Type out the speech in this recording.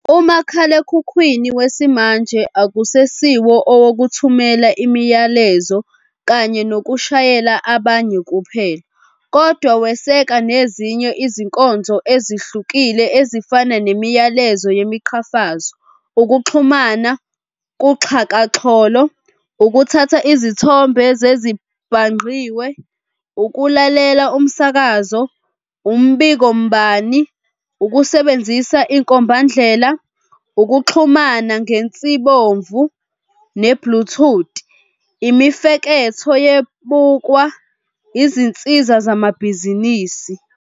Umakhalekhukhwini wesimanje akusesiwo owokuthumela imilayezo kanye nokushayela abanye kuphela, kodwa weseka nezinye izinkonzo ezihlukile ezifana nemiyalezo yemiqhafazo, ukuxhuma kuxhakaxholo, ukuthatha izithombe zezibhangqiwe, ukulalela umsakazo, umbikombani, ukusebenzisa inkombandlela, ukuxhumana ngensibomvu ne"bluetooth", imifeketho yeBukwa, izinsiza zamabhizinisi.